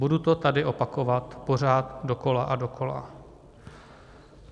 Budu to tady opakovat pořád dokola a dokola.